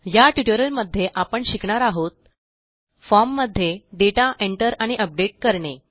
या ट्युटोरियलमध्ये आपण शिकणार आहोत फॉर्म मध्ये दाता Enter आणि अपडेट करणे